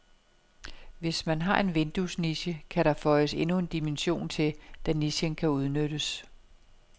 Har man en vinduesniche, kan der føjes endnu en dimension til, da nichen kan udnyttes.